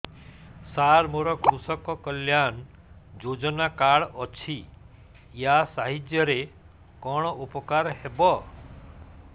ସାର ମୋର କୃଷକ କଲ୍ୟାଣ ଯୋଜନା କାର୍ଡ ଅଛି ୟା ସାହାଯ୍ୟ ରେ କଣ ଉପକାର ହେବ